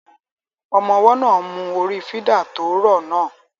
Ọmọ ọwọ́ náà ń mú orí fídà tó rọ̀ náà